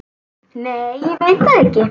Nei ég veit það ekki.